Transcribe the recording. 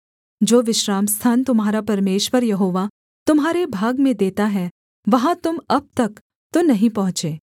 जो विश्रामस्थान तुम्हारा परमेश्वर यहोवा तुम्हारे भाग में देता है वहाँ तुम अब तक तो नहीं पहुँचे